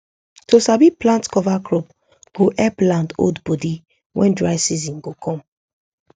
to sabi plant cover crop go help land hold body when dry season go come